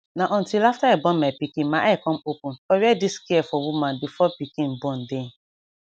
na until after i born my pikin my eye come open for where this care for woman before pikin born dey